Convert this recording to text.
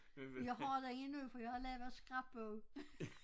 Jeg har den endnu for jeg har lavet scrapbog